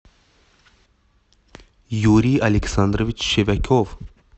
юрий александрович щевяков